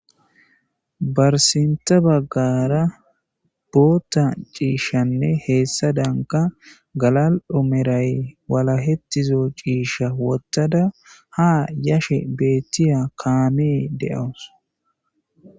Barsinta baggara bootta ciishshanne heessa danka galal'omeray wala hettizo ciisha wottada ha yashe beettiya kaamee de'awus.